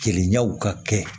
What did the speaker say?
Keleyaw ka kɛ